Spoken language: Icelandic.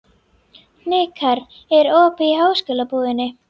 Hnikarr, er opið í Háskólabúðinni?